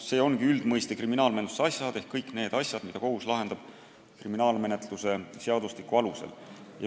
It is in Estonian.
See ongi üldmõiste –kriminaalmenetluse asjad ehk kõik need asjad, mida kohus lahendab kriminaalmenetluse seadustiku alusel.